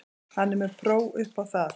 Hann er með próf upp á það.